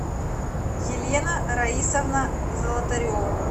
елена раисовна золотарева